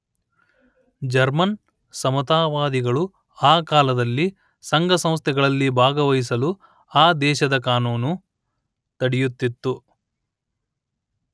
German ಸಮತಾವಾದಿಗಳು ಆ ಕಾಲದಲ್ಲಿ ಸಂಘಸಂಸ್ಥೆಗಳಲ್ಲಿ ಭಾಗವಹಿಸಲು ಆ ದೇಶದ ಕಾನೂನು ತಡೆಯುತ್ತಿತ್ತು